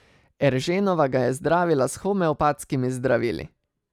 Erženova ga je zdravila s homeopatskimi zdravili.